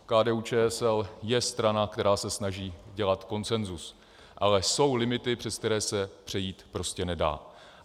KDU-ČSL je strana, která se snaží dělat konsenzus, ale jsou limity, přes které se přejít prostě nedá.